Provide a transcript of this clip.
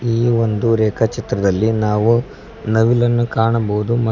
ಈ ಒಂದು ರೇಖಾ ಚಿತ್ರದಲ್ಲಿ ನಾವು ನವಿಲನ್ನು ಕಾಣಬಹುದು.